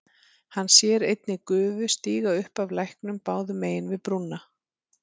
Hann sér einnig gufu stíga upp af læknum báðum megin við brúna.